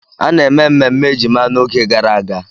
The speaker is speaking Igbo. A na-eme mmemme ejima n'oge gara aga.